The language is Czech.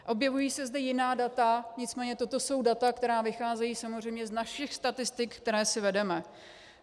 Objevují se zde jiná data, nicméně toto jsou data, která vycházejí samozřejmě z našich statistik, které si vedeme.